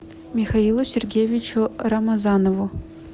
михаилу сергеевичу рамазанову